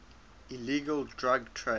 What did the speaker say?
illegal drug trade